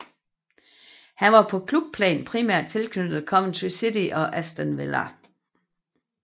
Han var på klubplan primært tilknyttet Coventry City og Aston Villa